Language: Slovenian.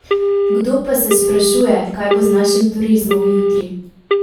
Kdo pa se sprašuje, kaj bo z našim turizmom jutri?